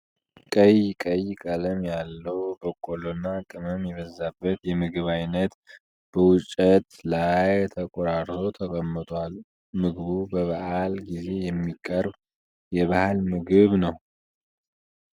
ቀይ ቀይ ቀለም ያለው በቆሎና ቅመም የበዛበት የምግብ አይነት በወጭት ላይ ተቆራርሶ ተቀምጧል። ምግቡ በበዓል ጊዜ የሚቀርብ የባህል ምግብ ነው?